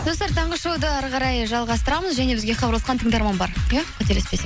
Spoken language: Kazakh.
достар таңғы шоуды әрі қарай жалғастырамыз және бізге хабарласқан тыңдарман бар иә қателеспесе